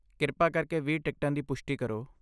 ਕਿਰਪਾ ਕਰਕੇ ਵੀਹ ਟਿਕਟਾਂ ਦੀ ਪੁਸ਼ਟੀ ਕਰੋ।